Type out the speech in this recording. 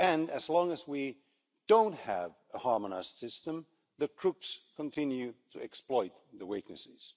As long as we don't have a harmonised system, the crooks continue to exploit the weaknesses.